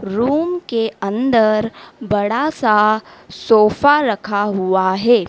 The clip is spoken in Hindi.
रूम के अंदर बड़ा सा सोफा रखा हुआ है।